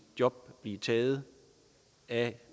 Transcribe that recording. job blive taget af